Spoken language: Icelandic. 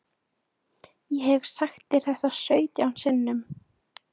Ég hef sagt þér það sautján sinnum.